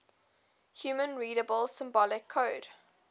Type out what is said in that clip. human readable symbolic code